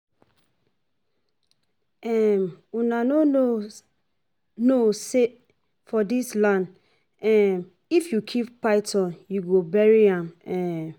um Una no know know say for dis land um if you kill python you go bury am um